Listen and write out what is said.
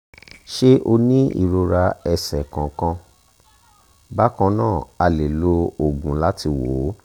ṣé o ní ìrora ẹsẹ̀ kankan? bákan náà a lè lo òògùn láti wò ó